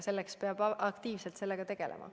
Sellega peab aktiivselt tegelema.